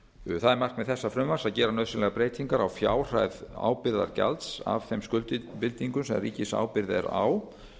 landsvirkjun markmið frumvarps þessa er að gera nauðsynlegar breytingar á fjárhæð ábyrgðargjalds af þeim skuldbindingum sem ríkisábyrgð er á